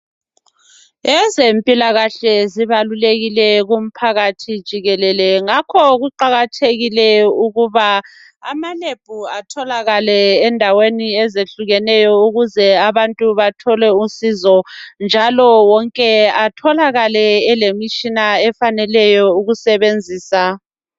Ezempilakahle zibalulekile kumphakathi jikelele. Ngakho kuqakathekile ukuba ama-lab atholakale endaweni ezehlukeneyo Ukuze abantu bathole usizo, njalo wonke atholakale elemitshina efaneleyo ukusebenzisa.